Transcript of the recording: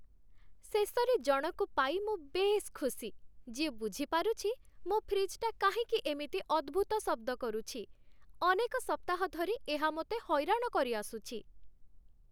ଶେଷରେ ଜଣଙ୍କୁ ପାଇ ମୁଁ ବେଶ୍ ଖୁସି, ଯିଏ ବୁଝି ପାରୁଛି ମୋ ଫ୍ରିଜ୍‌ଟା କାହିଁକି ଏମିତି ଅଦ୍ଭୁତ ଶବ୍ଦ କରୁଛି, ଅନେକ ସପ୍ତାହ ଧରି ଏହା ମୋତେ ହଇରାଣ କରିଆସୁଛି!